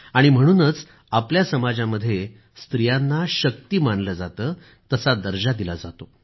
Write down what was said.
आणि म्हणूनच आपल्या समाजामध्ये स्त्रियांना शक्ती असं मानलं जातं तसा दर्जा दिला जातो